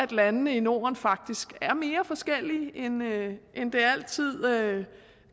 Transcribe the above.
landene i norden faktisk er mere forskellige end det altid